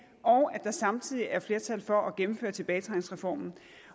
og at der samtidig er flertal for at gennemføre tilbagetrækningsreformen